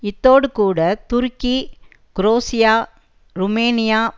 இத்தோடு கூட துருக்கி குரோசியா ருமேனியா